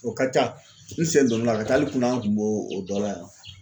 O ka ca n sen donna la ka taa hali kunna n kun b'o o dɔ la yan.